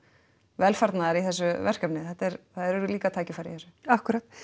velfarnaðar í þessu verkefni það eru líka tækifæri í þessu akkúrat